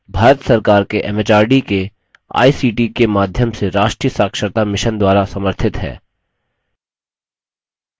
भारत सरकार के एमएचआरडी के आईसीटी के माध्यम से राष्ट्रीय साक्षरता mission द्वारा समर्थित है